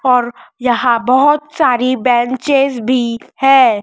और यहाँ बहोत सारी बेंचेस भी हैं।